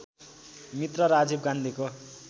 मित्र राजीव गान्धीको